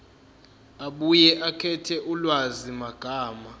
abuye akhethe ulwazimagama